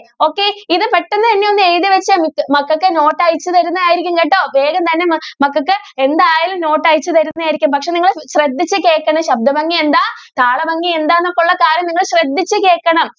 okay ഇത് പെട്ടെന്ന് തന്നെ ഒന്ന് എഴുതി വച്ചേ. മക്കൾക്ക് നോട്ട് അയച്ചു തരുന്നത് ആയിരിക്കും കേട്ടോ വേഗം തന്നെ മ~മക്കൾക്ക് എന്തായാലും note അയച്ചു തരുന്നതായിരിക്കും പക്ഷെ നിങ്ങൾ ശ്രദ്ധിച്ചു കേൾക്കണം ശബ്ദ ഭംഗി എന്താ താള ഭംഗി എന്താ എന്നൊക്കെ ഉള്ള കാര്യങ്ങൾ നിങ്ങൾ ശ്രദ്ധിച്ചു കേൾക്കണം.